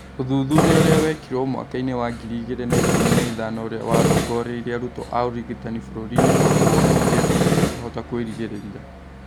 Ũthuthuria ũrĩa wekĩrwo mwakainĩ wa ngiri igĩrĩ na ikũmi na ithano ũrĩa warongoreirie arutwo a ũrigitani bũrũri-inĩwa Kongo wonanĩrie atĩ matingĩhota kwĩrigĩrĩria